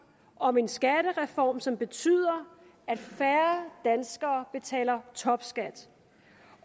om en skattereform som betyder at færre danskere betaler topskat